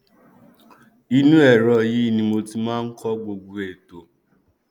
ìnú ẹrọ yìí ní mo máa ń kọ gbogbo ètò